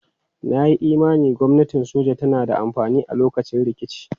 Na yi imanin gwamnatin soja tana da amfani a lokacin rikici.